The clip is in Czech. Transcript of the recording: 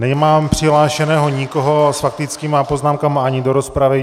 Nemám přihlášeného nikoho s faktickými poznámkami ani do rozpravy.